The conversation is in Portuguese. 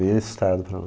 Bem assustado para lá.